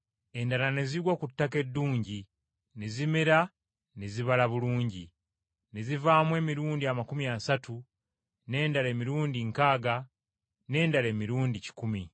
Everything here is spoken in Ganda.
Endala ne zigwa ku ttaka eddungi, ne zimera ne zibala bulungi, ne zivaamu emirundi amakumi asatu, n’endala emirundi nkaaga n’endala emirundi kikumi.